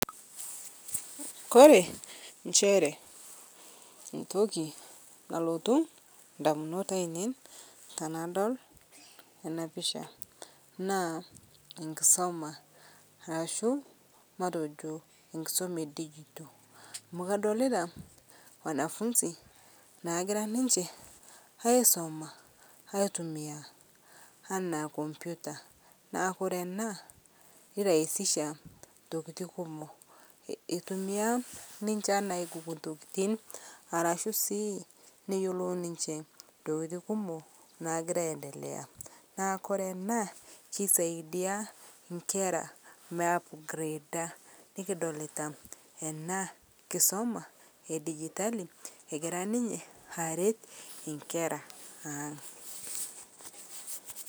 Kore inchere ntoki nalotu indamunot ainei tenadol enapisha naa enkisum arashumatejo enkisuma edijitol amu kadolita wanafunzi naagira ninche aisuma, aitumiya naa enkompita. Neaku ore ena neraisisha ntokitin kumok. Eitumiya niche aigoogle ntokitin arashu sii neyiolou ninche ntokitin kumok naagira aendelea .Naaku kore ena keisadia inkera meiapgreeda, nikidolita ena enkisuma edijitali egira ninye injkera aang'.